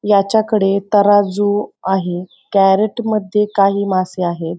याच्या कडे तराजू आहे कॅरेट मध्ये काही मासे आहेत.